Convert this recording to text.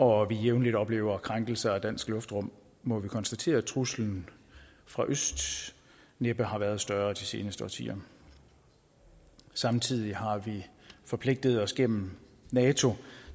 og vi jævnligt oplever krænkelser af dansk luftrum må vi konstatere at truslen fra øst næppe har været større de seneste årtier samtidig har vi forpligtet os gennem nato